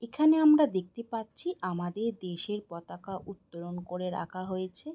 এখানে আমরা দেখতে পাচ্ছি আমাদের দেশের পতাকা উত্তরণ করে রাখা হয়েছে।